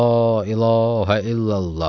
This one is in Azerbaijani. La ilahə illallah.